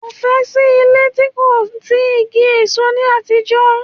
Kò fẹ́ẹ̀ sí ilé tí kò sí igi èso ní àtijọ́